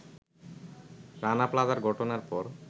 রানা প্লাজার ঘটনার পর